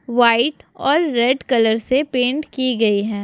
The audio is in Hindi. व्हाइट और रेड कलर से पेंट की गई हैं।